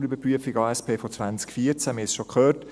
wir haben es schon gehört.